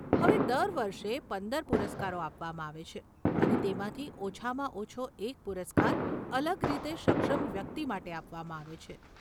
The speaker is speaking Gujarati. હવે, દર વર્ષે પંદર પુરસ્કારો આપવામાં આવે છે, અને તેમાંથી ઓછામાં ઓછો એક પુરસ્કાર અલગ રીતે સક્ષમ વ્યક્તિ માટે આપવામાં આવે છે.